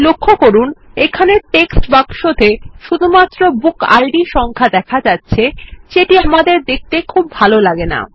লক্ষ্য করুন এখানে টেক্সট বাক্স তে শুধুমাত্র বুকিড সংখ্যা দেখা যাচ্ছে এটি আমাদের দেখতে খুব ভালো লাগে না